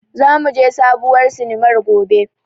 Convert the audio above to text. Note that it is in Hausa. Za mu je sabuwar sinimar gobe.